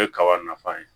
O ye kaba nafa ye